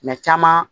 Mɛ caman